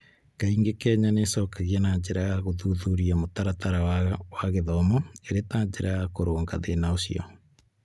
Kaingĩ Kenya nĩ ĩcokagia na njĩra ya gũthuthuria mũtaratara wayo wa gĩthomo ĩrĩ ta njĩra ya kũrũnga thĩna ũcio.